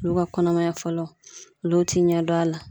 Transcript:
Olu ka kɔnɔmaya fɔlɔ olu ti ɲɛ dɔn a la